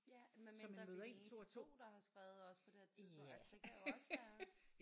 Ja medmindre vi er de eneste 2 der har skrevet os på det her tidspunkt altså det kan jo også være